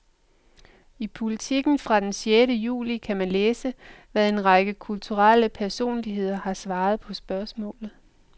I Politiken fra den sjette juli kan man læse, hvad en række kulturelle personligheder har svaret på spørgsmålet.